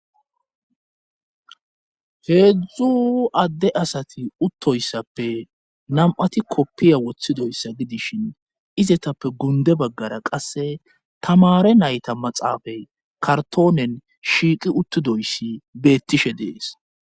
heedzdzu adde asati uttoyssappe nam7ati koppiya woththidoyssa gidishin izetappe gunde baggara qasse tamare nayta maxaafay kartoonen shiiqi uttidoyssi beettishe dees